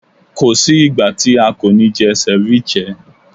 Ko sí ìgbà tí a kò ní jẹ ceviche.